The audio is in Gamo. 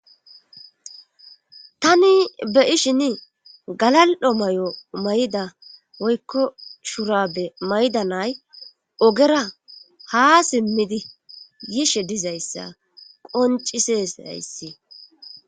Tani be ishin galaldo may7o mayda woykko shurabe maydanay ogera ha simmidi yishe dizayssa qoncises ayssi..